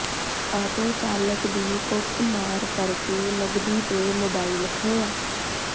auto ਚਾਲਕ ਦੀ ਕੁੱਟਮਾਰ ਕਰਕੇ ਨਗਦੀ ਤੇ ਮੋਬਾਈਲ ਖੋਹਿਆ